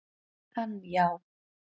Hann já.